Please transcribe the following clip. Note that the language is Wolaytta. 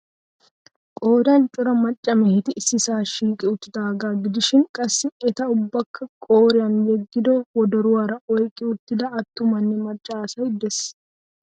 Qoodan cora macca mehetti issisaa shiiqi uttidaagaa gidishiin qassi eta ubbakka qoriyan yeggido wodoruwaara oyqqi uttidi attumanne macca asay de'ees.